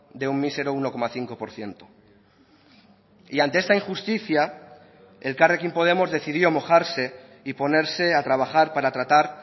de un mísero uno coma cinco por ciento y ante esta injusticia elkarrekin podemos decidió mojarse y ponerse a trabajar para tratar